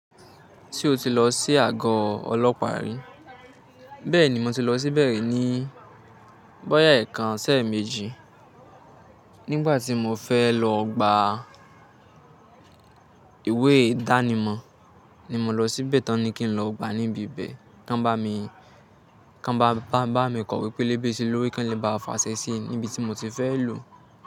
Se o ti lọ sí àgọ́ ọlọ́pàá rí? Bẹ́ẹ̀ ni mo ti lọ síbẹ̀ rí ní bọ́yá ẹẹkan ṣi eméjì. Nígbà tí mo fẹ́ lọ gba ìwé ìdánimọ̀ ni mo lọ síbẹ̀ tán ní kí n lọ gba níbi bẹ́ẹ̀. Kán bá mi, kán bá bà bá mi kọ̀'we pelébe ṣí lórí Kàn lé Bà le fasẹ́ẹ́sí níbi tí mo ti fẹ́ lò.